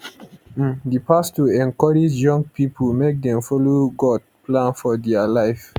um di pastor encourage young pipo make dem follow god plan for dia life